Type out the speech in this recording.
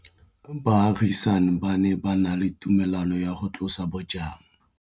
Baagisani ba ne ba na le tumalanô ya go tlosa bojang.